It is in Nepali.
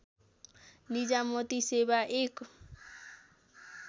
निजामती सेवा एक